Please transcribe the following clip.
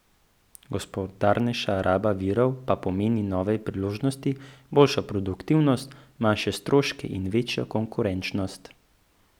Gospodarnejša raba virov pa pomeni nove priložnosti, boljšo produktivnost, manjše stroške in večjo konkurenčnost.